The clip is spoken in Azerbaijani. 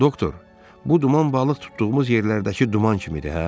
Doktor, bu duman balıq tutduğumuz yerlərdəki duman kimidir, hə?